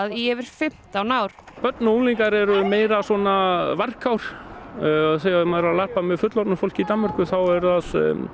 í yfir fimmtán ár börn og unglingar eru meira svona varkár en þegar maður er að larpa með fullorðnu fólki í Danmörku þá er það